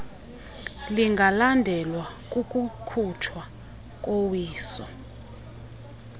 lingalandelwa kukukhutshwa kowiso